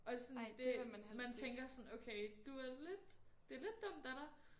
Og sådan det man tænker sådan okay du er lidt det lidt dumt af dig